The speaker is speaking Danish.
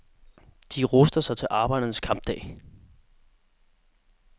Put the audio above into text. De ruster sig til arbejdernes kampdag.